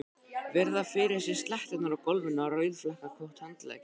Virða fyrir sér sletturnar á gólfinu og rauðflekkótt handklæðið.